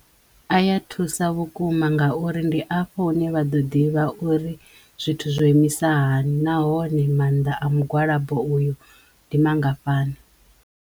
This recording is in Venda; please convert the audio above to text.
A ya thusa vhukuma ngauri ndi afho hune vha ḓo ḓivha uri zwithu zwo imisa hani nahone mannḓa a mugwalabo uyu ndi mangafhani.